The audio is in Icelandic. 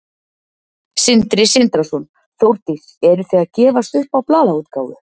Sindri Sindrason: Þórdís, eru þið að gefast upp á blaðaútgáfu?